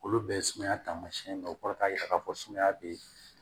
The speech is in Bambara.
Olu bɛɛ ye sumaya taamasiyɛn dɔ ye o kɔrɔ k'a jira k'a fɔ sumaya bɛ